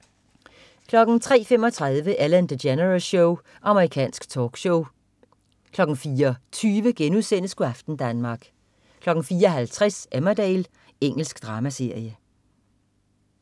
03.35 Ellen DeGeneres Show. Amerikansk talkshow 04.20 Go' aften Danmark* 04.50 Emmerdale. Engelsk dramaserie